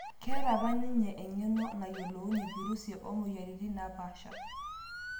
Keeta apa ninye eng'eno nayiolounye virusi oo mueyariritin napaasha